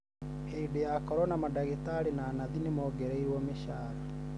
hĩndĩ ya korona, madagĩtarĩ na nathi nĩmongereirwo mĩcara